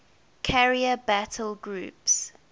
carrier battle groups